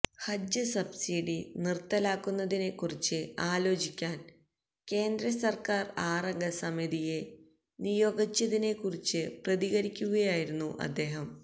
ഹജ്ജ് subsidy നിര്ത്തലാക്കുന്നതിനെക്കുറിച്ച് ആലോചിക്കാന് കേന്ദ്രസര്ക്കാര് ആറംഗ സമിതിയെ നിയോഗിച്ചതിനെക്കുറിച്ച് പ്രതികരിക്കുകയായിരുന്നു അദ്ദേഹം